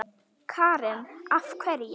Karen: Af hverju?